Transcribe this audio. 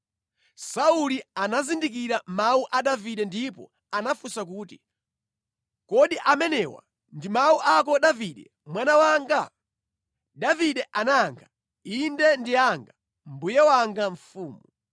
Sauli anazindikira mawu a Davide ndipo anafunsa kuti, “Kodi amenewa ndi mawu ako Davide mwana wanga?” Davide anayankha, “Inde ndi anga, mbuye wanga mfumu.